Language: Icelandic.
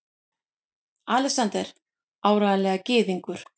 ALEXANDER: Áreiðanlega gyðingur!